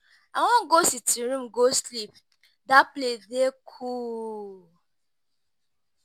I wan go sitting room go sleep, dat place dey cool.